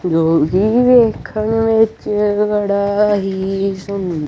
ਜੋ ਵੇਖਣ ਵਿੱਚ ਬੜਾ ਹੀ ਸੁਦ--